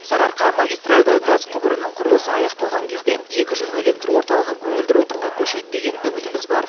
сарыарқа магистарльды газ құбырының құрылысы аяқталған кезде екі жылу электр орталығы көгілдір отынға көшеді деген үмітіміз бар